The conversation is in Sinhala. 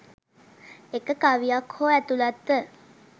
එක කවියක් හෝ ඇතුළත්ව